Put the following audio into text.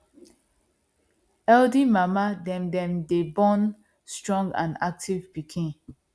healthy mama dem dem day born strong and active piken